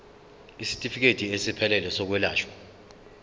isitifikedi esiphelele sezokwelashwa